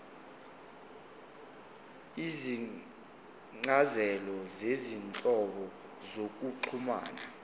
izincazelo zezinhlobo zokuxhumana